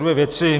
Dvě věci.